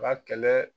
Ka kɛlɛ